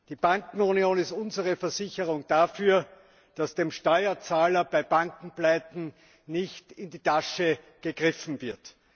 Die Bankenunion ist unsere Versicherung dafür, dass dem Steuerzahler bei Bankenpleiten nicht in die Tasche gegriffen wird.